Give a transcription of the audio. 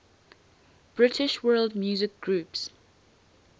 british world music groups